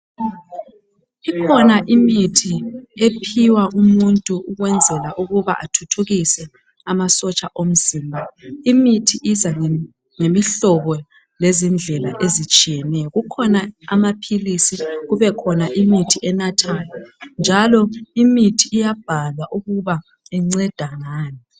Kukhona imithi ephiwa umuntu ukwenzela ukuthi athuthukise amasotsha omzimba. Imithi iza ngemihlobo lezindlela ezitshiyeneyo. Kukhona amaphilisi lemithi enathwayo. Imithi iyabhalwa ukuba inceda ngani.